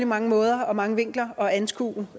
mange måder og mange vinkler at anskue